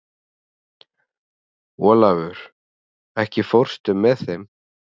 Olavur, ekki fórstu með þeim?